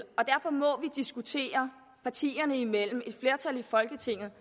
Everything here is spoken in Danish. diskutere partierne imellem et flertal i folketinget